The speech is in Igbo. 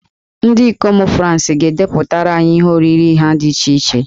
Ndị ikom Fransị ga-edepụtara anyị ihe oriri ha dị iche iche.